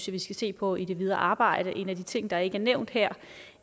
vi skal se på i det videre arbejde en af de ting der ikke er nævnt her